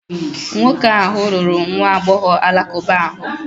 Nwoke ahụ lụrụ nwa agbọghọ Alakụba ahụ.